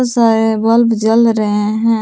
सारे बल्ब जल रहे हैं।